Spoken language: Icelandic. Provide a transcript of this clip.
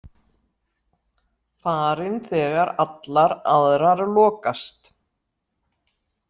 Farin þegar allar aðrar lokast.